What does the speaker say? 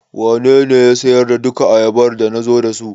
Wanene ya siyar da duka ayabar da nazo da su?